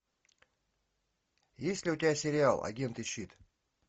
есть ли у тебя сериал агенты щит